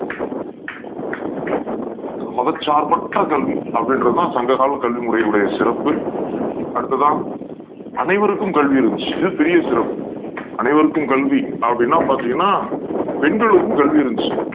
மதசார்ப்பற்ற கல்வி அப்டி இன்றது தான் சங்ககால கல்வி முறையோட சிறப்பு அடுத்ததா அனை வருக்கும் கல்வி இருந்துச்சி இது பெரிய சிறப்பு அனைவருக்கும் கல்வி அப்டினா பாத்திங்கனா பெண்களுக்கு கல்வி இறுந்துச்சி